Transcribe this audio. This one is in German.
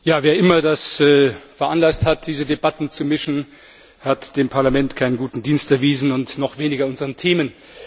Herr Präsident! Wer immer das veranlasst hat, diese Debatten zu mischen, hat dem Parlament keinen guten Dienst erwiesen und noch weniger unseren Themen!